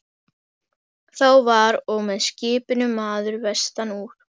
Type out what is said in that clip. Þá var og með skipinu maður vestan úr